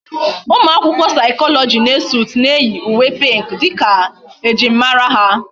Umuakwukwo psychology na Esut na eyi uwe pink dika ejim mara ha